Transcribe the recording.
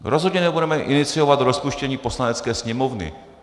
Rozhodně nebudeme iniciovat rozpuštění Poslanecké sněmovny."